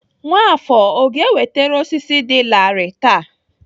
Nwafor ọ ga-ewetere osisi dị larịị taa?